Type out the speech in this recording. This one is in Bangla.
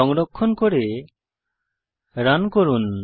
সংরক্ষণ করে রান করুন